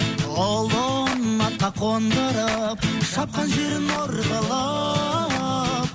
ұлын атқа қондырып шапқан жерін ор қылып